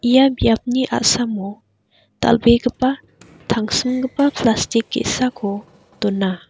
ia biapni a·samo dal·begipa tangsimgipa plastik ge·sako dona.